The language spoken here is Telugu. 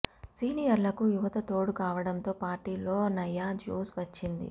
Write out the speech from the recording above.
సీనియర్లకు యువత తోడు కావడంతో పార్టీలో నయా జోష్ వచ్చింది